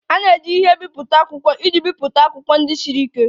A na-eji ihe mbipụta akwụkwọ iji bipụta akwụkwọ ndị siri ike